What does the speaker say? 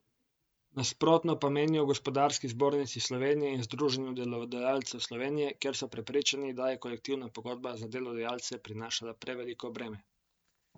Nasprotno pa menijo v Gospodarski zbornici Slovenije in Združenju delodajalcev Slovenije, kjer so prepričani, da je kolektivna pogodba za delodajalce prinašala preveliko breme.